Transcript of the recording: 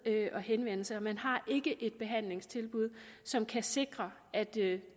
at henvende sig man har ikke et behandlingstilbud som kan sikre at det